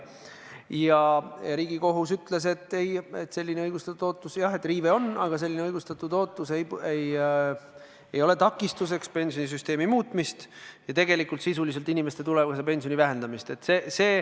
Ja Riigikohus ütles, et selline õigustatud ootuse riive jah on, aga selline õigustatud ootus ei takista pensionisüsteemi muutmist ja sisuliselt inimeste tulevase pensioni vähendamist.